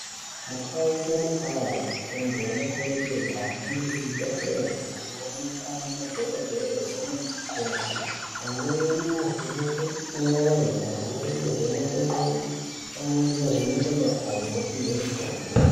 Mukau nemukawu antu anokurudzirwa kuhamba kuzvibhedhlera kunoonekwa madhokodheya nanamukoti amweni ovhenekwe mwoyo amweni ovhenekwe ndxondo amweni ovhenekwe makodo opihwe mutombo.